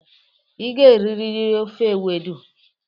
Ị ga-eriri ofe ewedu.